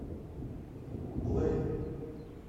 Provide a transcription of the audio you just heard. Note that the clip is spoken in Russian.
плэй